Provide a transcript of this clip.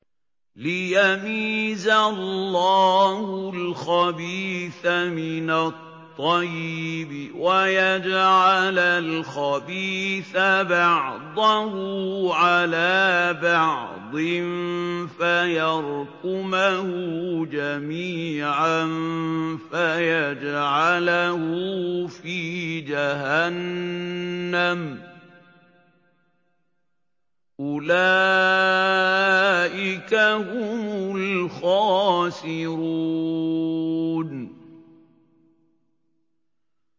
لِيَمِيزَ اللَّهُ الْخَبِيثَ مِنَ الطَّيِّبِ وَيَجْعَلَ الْخَبِيثَ بَعْضَهُ عَلَىٰ بَعْضٍ فَيَرْكُمَهُ جَمِيعًا فَيَجْعَلَهُ فِي جَهَنَّمَ ۚ أُولَٰئِكَ هُمُ الْخَاسِرُونَ